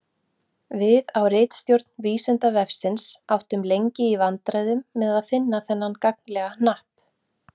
Við á ritstjórn Vísindavefsins áttum lengi í vandræðum með að finna þennan gagnlega hnapp.